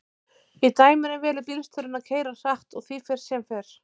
í dæminu velur bílstjórinn að keyra hratt og því fer sem fer